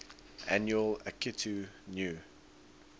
annual akitu new